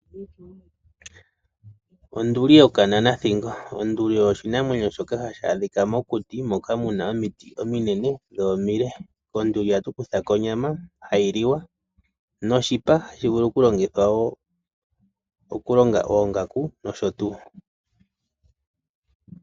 Onduli yo kanana thingo, onduli oyo oshinamwenyo shoka hashi adhika mokuti, moka muna omiti ominene dho omile, konduli ohatu kuthako onyama hayi liwa , noshipa hashi vulu oku longithwa wo, oku longa oongaku nosho tuu.